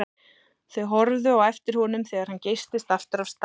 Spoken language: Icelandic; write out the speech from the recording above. Þau horfðu á eftir honum þegar hann geystist aftur af stað.